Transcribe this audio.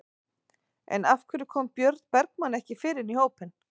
En af hverju kom Björn Bergmann ekki fyrr inn í hópinn?